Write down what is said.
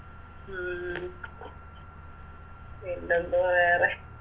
ഉം പിന്നെ എന്തുവാ വേറെ